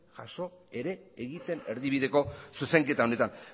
jaso ere egiten erdibideko zuzenketa honetan